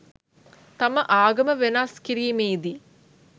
තම ආගම වෙනස් කිරීමේ දී